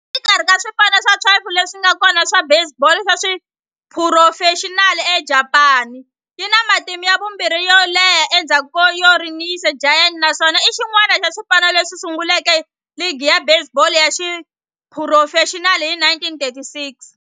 Exikarhi ka swipano swa 12 leswi nga kona swa baseball ya xiphurofexinali eJapani, yi na matimu ya vumbirhi yo leha endzhaku ka Yomiuri Giants, naswona i xin'wana xa swipano leswi sunguleke ligi ya baseball ya xiphurofexinali hi 1936.